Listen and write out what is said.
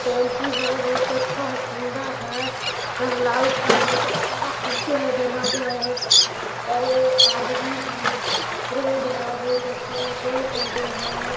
बहुत अच्छा है सुन्दर है यहाँ लाइट है बहुत अच्छा खिड़की है दरवाजा है और आदमी है रोड है बोहत अच्छा पेड़ पौधे है।